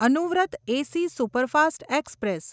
Anuvrat AC superfast express